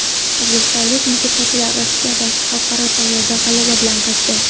O‘zbekistonlik musiqachilar Rossiyadagi xalqaro tanlovdan g‘alaba bilan qaytdi.